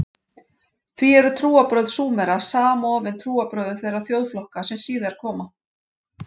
Því eru trúarbrögð Súmera samofin trúarbrögðum þeirra þjóðflokka sem síðar koma.